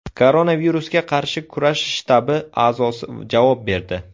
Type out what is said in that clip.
Koronavirusga qarshi kurash shtabi a’zosi javob berdi.